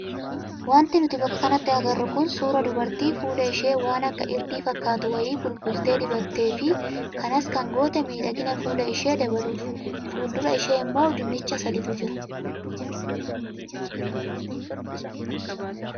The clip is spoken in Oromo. Wanti nuti bakka kanatti agarru kun suuraa dubartii fuula ishee waan akka irdii fakkaatu wayii bulbultee dibattee fi kanas kan goote miidhagina fuula ishee dabaluufi. Fuuldura ishee immoo dinnicha sadiitu jira.